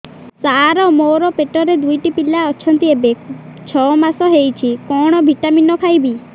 ସାର ମୋର ପେଟରେ ଦୁଇଟି ପିଲା ଅଛନ୍ତି ଏବେ ଛଅ ମାସ ହେଇଛି କଣ ଭିଟାମିନ ଖାଇବି